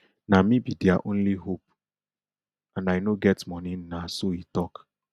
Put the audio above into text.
na me be dia only hope and i no get money na so e tok